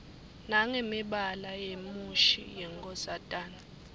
nangemibala yemushi yenkosatane